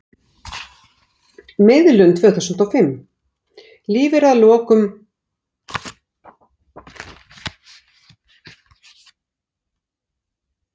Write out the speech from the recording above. Hvað finnst okkur gott mál, og hvers vegna?